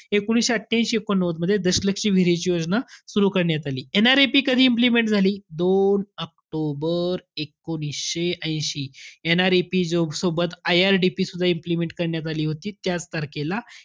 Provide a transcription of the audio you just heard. एकोणीशे अठ्ठयांशी-एकोणनव्वदमध्ये दशलक्षी विहिरींची योजना सुरु करण्यात आली. NREP कधी implement करण्यात आली? दोन ऑक्टोबर एकोणीशे ऐशी. NREP जो सोबत IRDP सुद्धा implement करण्यात आली होती त्याच तारखेला.